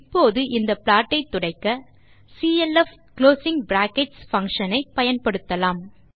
இப்போது இந்த ப்லாட்டை துடைக்க நாம் டிடிஜிடிசிஎல்எஃப் குளோசிங் bracketsltடிடிஜிடி பங்ஷன் ஐ பயன்படுத்தலாம்